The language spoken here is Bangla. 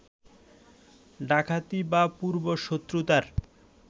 ডাকাতি বা পূর্ব-শত্রুতার